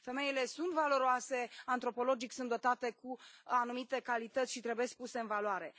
Femeile sunt valoroase, antropologic sunt dotate cu anumite calități și trebuie puse în valoare.